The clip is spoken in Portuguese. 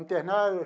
Internaram.